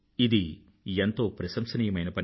ఇది ఎంతో ప్రసంశనీయమైన పని